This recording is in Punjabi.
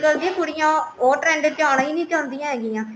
ਅੱਗੇ ਕੁੜੀਆਂ ਉਹ trend ਚ ਆਣਾ ਨੀ ਚਾਹੁੰਦੀਆ ਹੈਗੀਆਂ